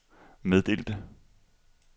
meddelte